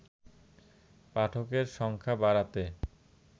পাঠকের সংখ্যা বাড়াতে